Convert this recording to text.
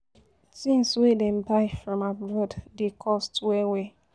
Tins wey dem buy from abroad dey cost well well.